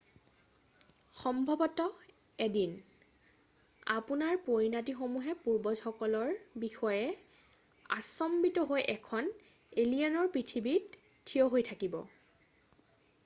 সম্ভৱত 1দিন আপোনাৰ পৰিনাতিসমূহে পূৰ্বজসকলৰ বিষয়ে আশ্চম্বিত হৈ এখন এলিয়েনৰ পৃথিৱীত থিয় হৈ থাকিব